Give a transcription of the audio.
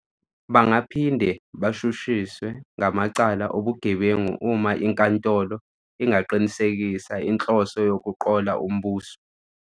Bangaphinde bashushiswe ngamacala obugebengu uma inkantolo ingaqinisekisa inhloso yokuqola umbuso.